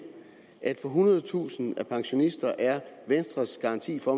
at for ethundredetusind pensionister er venstres garanti for